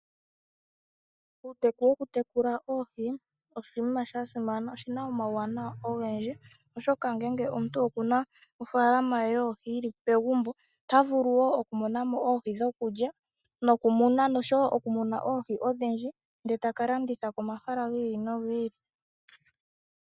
Uuteku wokutekula oohi oshinima shasimana. Oshina omauwanawa ogendji oshoka ngele omuntu okuna oofalama ye yoohi yili pegumbo otavulu wo, okumonamo oohi dhokulya nokumuna nosho wo okumuna oohi odhindji ndele taka landitha komahala giili nogi ili.